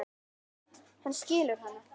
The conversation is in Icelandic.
Hann skilur hana.